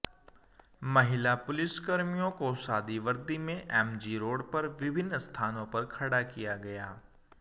महिला पुलिसकर्मियों को सादी वर्दी में एमजी रोड पर विभिन्न स्थानों पर खड़ा किया गया